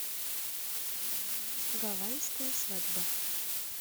гавайская свадьба